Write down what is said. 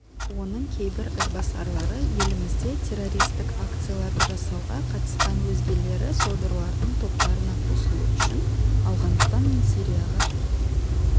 оның кейбір ізбасарлары елімізде террористік акцияларды жасауға қатысқан өзгелері содырлардың топтарына қосылу үшін ауғаныстан мен сирияға